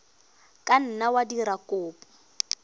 ka nna wa dira kopo